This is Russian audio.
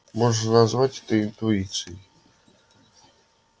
можно назвать это интуицией